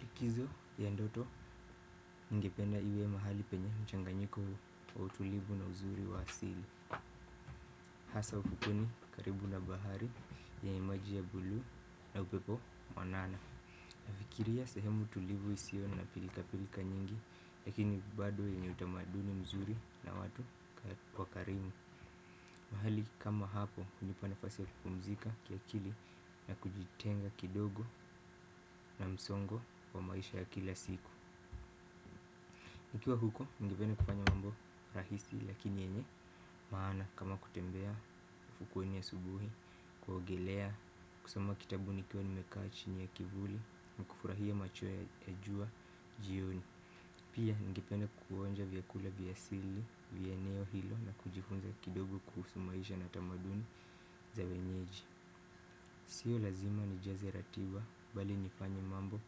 Likizo ya ndoto ningependa iwe mahali penye mchanganyiko wa utulivu na uzuri wa asili. Hasa ufukweni karibu na bahari yenye maji ya bluu na upepo mwanana. Nafikiria sahemu utulivu isio na pilika-pilika nyingi lakini bado yenye tamaduni mzuri na watu wakarimu. Mahali kama hapo kunipa nafasi ya kupumzika kiakili na kujitenga kidogo na msongo wa maisha ya kila siku. Nikiwa huko ningependa kufanya mambo rahisi lakini yenye maana kama kutembea ufukuweni asubuhi, kuogelea, kusoma kitabu nikiwa nimekaa chini ya kivuli na kufurahia machweo ya jua jioni. Pia ningependa kukuonja vyakula vya asili, vya eneo hilo na kujifunza kidogo kuhusu maisha na tamaduni za wenyeji. Sio lazima nijaze ratiba bali nifanye mambo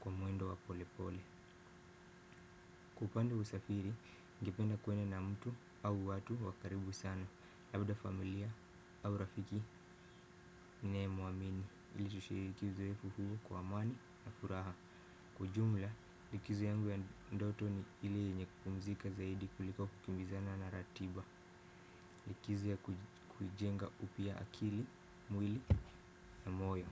kwa mwendo wa pole pole. Kwa upande usafiri, ningependa kuennd na mtu au watu wakaribu sana. Labda familia au rafiki ninaye muamini. Ili tushiriki likizo yetu huu kwa amani na furaha. Kwa ujumla, likizo yangu ya ndoto ni ile yenye kupumzika zaidi kuliko kukimbizana na ratiba. Likizo ya kujenga upya akili, mwili na moyo.